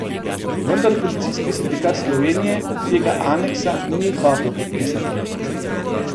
Vendar Policijski sindikat Slovenije tega aneksa ni hotel podpisati.